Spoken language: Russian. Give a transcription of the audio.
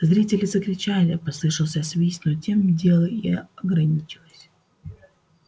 зрители закричали послышался свист но тем дело и ограничилось